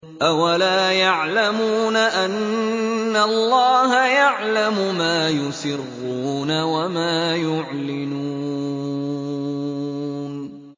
أَوَلَا يَعْلَمُونَ أَنَّ اللَّهَ يَعْلَمُ مَا يُسِرُّونَ وَمَا يُعْلِنُونَ